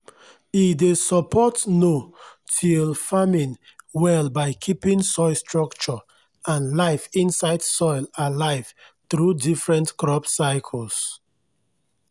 e dey support no-till farming well by keeping soil structure and life inside soil alive through different crop cycles.